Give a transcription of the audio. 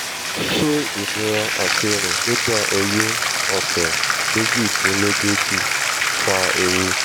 ṣẹ́ ìnira àti rìn nígbà oyún ọ̀sẹ méjìdínlógójì fa ewu?